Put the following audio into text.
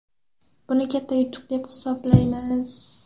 Buni katta yutuq deb hisoblaymiz.